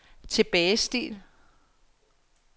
tilbagestil